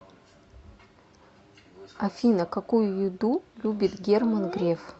афина какую еду любит герман греф